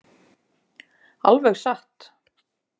Alveg satt!